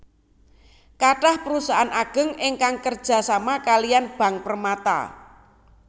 Kathah perusahaan ageng ingkang kerja sama kaliyan Bank Permata